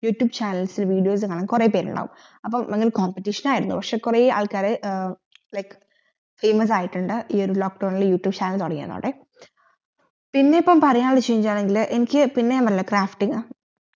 YouTube channels videos കാണാൻ കൊറേ പേരുണ്ടാകും അപ്പൊ ഭയങ്കര competition ആയിരുന്നു പിന്നെ ഇപ്പോ പറയാൻവെച്ചൽ എന്ന എനിക്ക് പിന്നെമെല്ലെ crafting